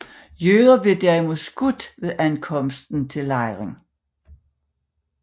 Jøder blev derimod skudt ved ankomst til lejren